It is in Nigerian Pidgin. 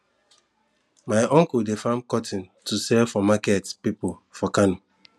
my uncle dey farm cotton to sell for market people for kano